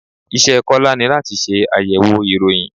Iṣẹ́ Kọ́lá ni láti ṣe àyẹ̀wò ìròyìn.